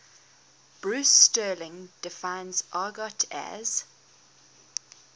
bruce sterling defines argot as